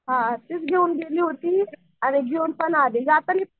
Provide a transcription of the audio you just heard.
हां तीच घेऊन गेली होती आणि घेऊन पण आली